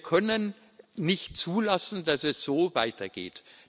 Wir können nicht zulassen, dass es so weitergeht.